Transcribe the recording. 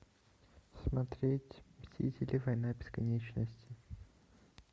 смотреть мстители война бесконечности